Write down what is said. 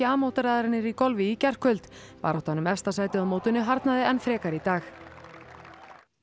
mótaraðarinnar í golfi í gærkvöld baráttan um efsta sætið á mótinu harðnaði enn frekar í dag